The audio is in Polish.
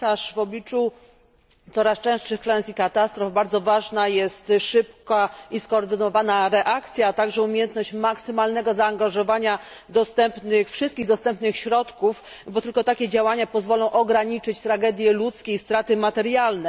W obliczu coraz częstszych klęsk i katastrof bardzo ważna jest szybka i skoordynowana reakcja, a także umiejętność maksymalnego zaangażowania wszystkich dostępnych środków, bo tylko takie działania pozwolą ograniczyć tragedie ludzkie i straty materialne.